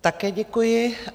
Také děkuji.